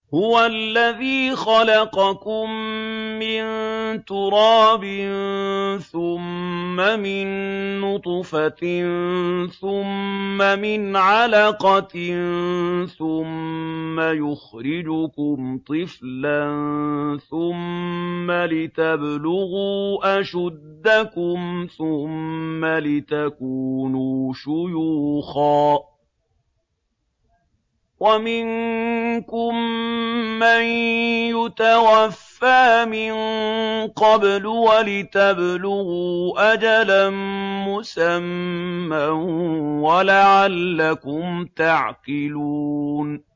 هُوَ الَّذِي خَلَقَكُم مِّن تُرَابٍ ثُمَّ مِن نُّطْفَةٍ ثُمَّ مِنْ عَلَقَةٍ ثُمَّ يُخْرِجُكُمْ طِفْلًا ثُمَّ لِتَبْلُغُوا أَشُدَّكُمْ ثُمَّ لِتَكُونُوا شُيُوخًا ۚ وَمِنكُم مَّن يُتَوَفَّىٰ مِن قَبْلُ ۖ وَلِتَبْلُغُوا أَجَلًا مُّسَمًّى وَلَعَلَّكُمْ تَعْقِلُونَ